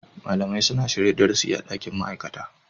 Malamai suna shirya darasi a dakin ma'aikata.